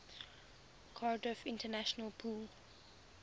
cardiff international pool